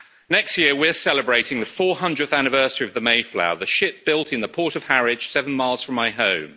Next year, we are celebrating the 400th anniversary of the Mayflower, the ship built in the port of Harwich, seven miles from my home.